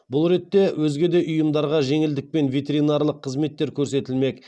бұл ретте өзге де ұйымдарға жеңілдікпен ветеринарлық қызметтер көрсетілмек